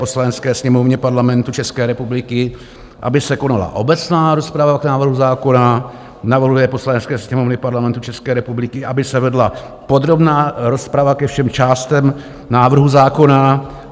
Poslanecké sněmovně Parlamentu České republiky aby se konala obecná rozprava o návrhu zákona; navrhuje Poslanecké sněmovně Parlamentu České republiky, aby se vedla podrobná rozprava ke všem částem návrhu zákona;